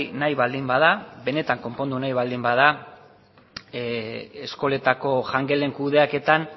nahi baldin bada benetan konpondu nahi baldin bada eskoletako jangelen kudeaketan